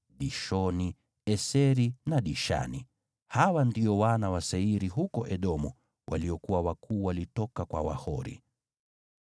Dishoni, Eseri na Dishani. Hawa ndio wana wa Seiri huko Edomu waliokuwa wakuu kwa Wahori.